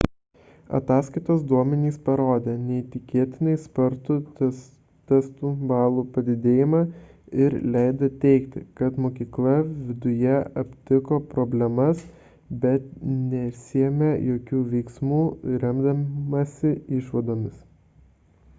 ataskaitos duomenys parodė neįtikėtinai spartų testų balų padidėjimą ir leido teigti kad mokykla viduje aptiko problemas bet nesiėmė jokių veiksmų remdamasi išvadomis